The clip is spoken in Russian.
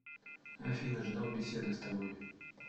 афина ждал беседы с тобой